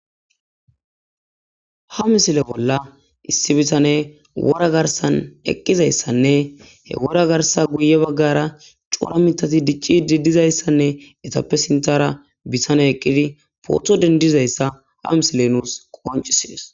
ha misile bolla issi bisane wora garsan eqqizayssanne he wora garsa guye baggara cura mitati dicci didizayssanne etappe sintara bisane eqqidi pootho dendizayssa ha misile nuus qoncisies